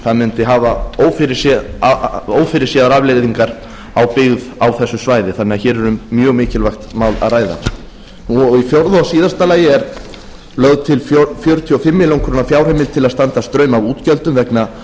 það mundi hafa ófyrirséðar afleiðingar á byggð á þessu svæði þannig að hér er um mjög mikilvægt mál að ræða í fjórða og síðasta lagi er lögð til fjörutíu og fimm ber fjárheimild til að standa straum af útgjöldum vegna